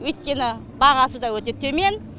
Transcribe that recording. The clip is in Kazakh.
өйткені бағасы да өте төмен